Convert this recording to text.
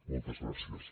moltes gràcies